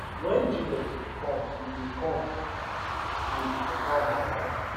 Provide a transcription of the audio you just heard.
wen jesus bin come e bin come wit better understanding